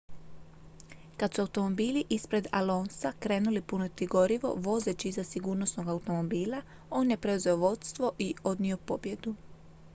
kad su automobili ispred alonsa krenuli puniti gorivo vozeći iza sigurnosnog automobila on je preuzeo vodstvo i odnio pobjedu